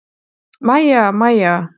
Mæja, Mæja!